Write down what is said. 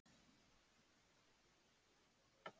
Sigríður Eir Zophoníasdóttir: Erum við ekki bara með þetta?